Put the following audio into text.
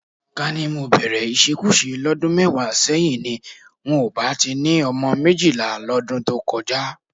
Ká ní mo bẹ̀rẹ̀ ìṣekúṣe lọ́dún mẹ́wàá sẹ́yìn ni, n ò bá ti ni ọmọ méjìlá lọ́dún tó kọjá